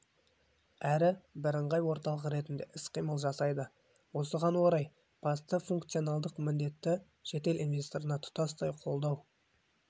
әрі бірыңғай орталық ретінде іс-қимыл жасайды осыған орай басты функционалдық міндеті шетел инвесторына тұтастай қолдау